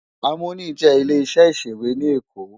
Àmóní jè ilé iṣè iṣéwé ni Ékó